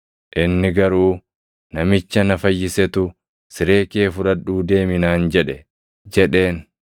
Inni garuu, “Namicha na fayyisetu ‘Siree kee fudhadhuu deemi’ naan jedhe” jedheen.